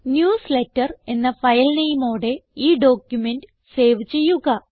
newsletter എന്ന file നെയിമോടെ ഈ ഡോക്യുമെന്റ് സേവ് ചെയ്യുക